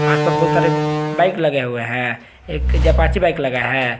बहुत सारे बाइक लगे हुए हैं एक अपाचे बाइक लगा हुआ है।